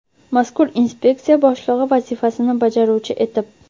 mazkur inspeksiya boshlig‘i vazifasini bajaruvchi etib;.